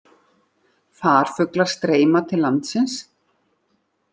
Farfuglar streyma til landsins